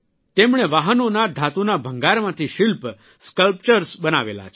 તેમણે વાહનોના ધાતુના ભંગારમાંથી શિલ્પ સ્કલ્પચર્સ બનાવેલા છે